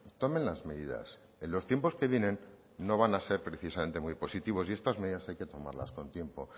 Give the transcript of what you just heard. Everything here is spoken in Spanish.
tomen las medidas en los tiempos que vienen no van a ser precisamente muy positivos y estas medidas hay que tomarlas con tiempo